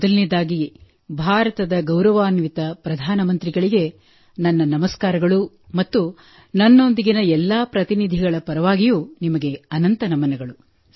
ಮೊದಲನೆಯದಾಗಿ ಭಾರತದ ಗೌರವಾನ್ವಿತ ಪ್ರಧಾನ ಮಂತ್ರಿಗಳಿಗೆ ನನ್ನ ನಮಸ್ಕಾರಗಳು ಮತ್ತು ನನ್ನೊಂದಿಗೆ ಎಲ್ಲಾ ಪ್ರತಿನಿಧಿಗಳ ಪರವಾಗಿಯೂ ನಿಮಗೆ ಅನಂತ ನಮನಗಳು